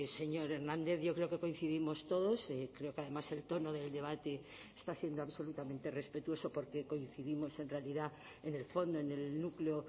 señor hernández yo creo que coincidimos todos creo que además el tono del debate está siendo absolutamente respetuoso porque coincidimos en realidad en el fondo en el núcleo